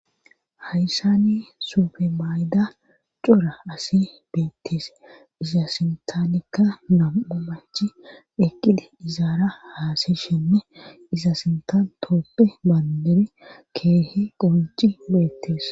hayssani subemayda cora asi beetteese iza sintaanikka nam'u manchi eqqida izaara haasishenne iza sintantoppe maandere keehe qonci beettees